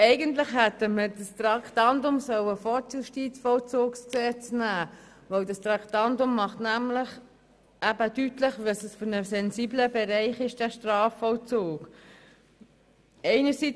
Eigentlich hätten wir dieses Traktandum vor dem Justizvollzugsgesetz behandeln sollen, denn es macht deutlich, wie sensibel der Strafvollzug ist.